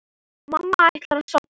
Mamma ætlar að sofna.